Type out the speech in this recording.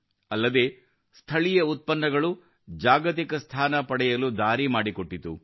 ಅಲ್ಲದೆ ಸ್ಥಳೀಯ ಉತ್ಪನ್ನಗಳು ಜಾಗತಿಕ ಸ್ಥಾನ ಪಡೆಯಲು ದಾರಿ ಮಾಡಿಕೊಟ್ಟಿತು